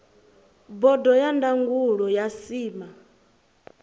bodo ya ndangulo ya cma